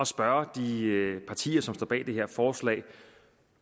spørge de partier som står bag det her forslag